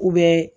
U bɛ